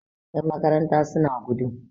Yanmakaranta suna gudu